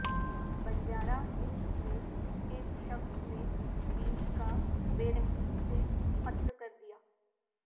Banjara Hills میں ایک شخص نے بیوی کا بے رحمی سے قتل کردیا